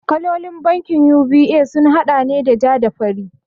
Kalolin bankin UBA sun haɗa ne da ja da fari